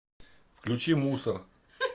включи мусор